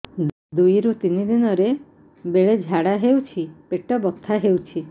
ଦୁଇରୁ ତିନି ଦିନରେ ବେଳେ ଝାଡ଼ା ହେଉଛି ପେଟ ବଥା ହେଉଛି